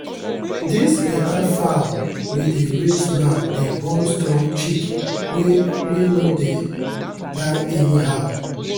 this better fowl we dey raise now dey born strong chick wey wey no dey die anyhow.